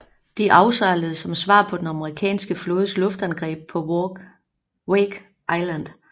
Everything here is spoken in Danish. De afsejlede som svar på den amerikanske flådes luftangreb på Wake Island